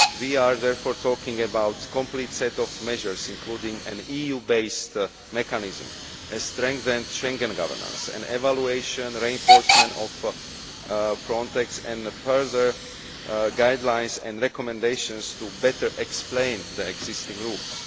We are therefore talking about a complete set of measures including an EU based mechanism, strengthened Schengen governance, evaluation and reinforcement of Frontex and further guidelines and recommendations to better explain the existing rules.